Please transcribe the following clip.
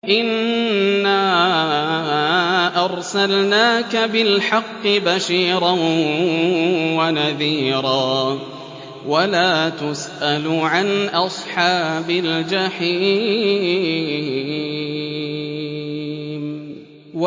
إِنَّا أَرْسَلْنَاكَ بِالْحَقِّ بَشِيرًا وَنَذِيرًا ۖ وَلَا تُسْأَلُ عَنْ أَصْحَابِ الْجَحِيمِ